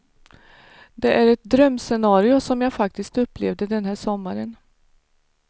Det är ett drömscenario som jag faktiskt upplevde den här sommaren.